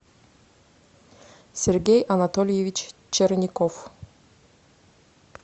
сергей анатольевич черников